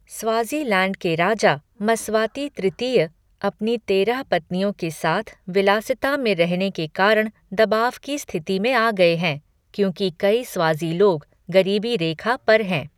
Swaziland के राजा, Mswati तृतीय, अपनी तेरह पत्नियों के साथ विलासिता में रहने के कारण दबाव की स्थिति में आ गए हैं, क्योंकि कई स्वाज़ी लोग गरीबी रेखा पर हैं।